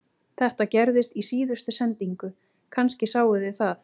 Þetta gerðist í síðustu sendingu, kannski sáuð þið það